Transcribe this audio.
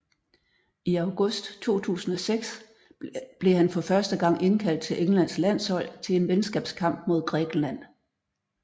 I august 2006 blev han for første gang indkaldt til Englands landshold til en venskabskamp mod Grækenland